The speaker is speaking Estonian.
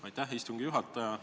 Aitäh, istungi juhataja!